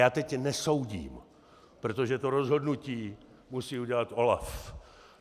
Já teď nesoudím, protože to rozhodnutí musí udělat OLAF.